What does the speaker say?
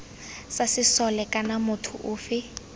sa sesole kana motho ofe